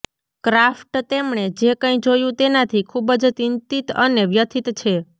craft તેમણે જે કંઇ જોયું તેનાથી ખુબજ ચિંતીત અને વ્યથિત છે